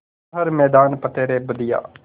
कर हर मैदान फ़तेह रे बंदेया